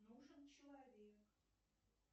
нужен человек